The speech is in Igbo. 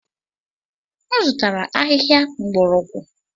M zụtara ahịhịa mgbọrọgwụ.